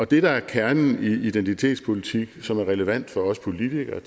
det der er kernen i identitetspolitik som er relevant for os politikere